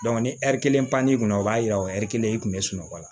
ni ɛri kelen pan'i kunna o b'a yira o ɛri kelen i tun bɛ sunɔgɔ la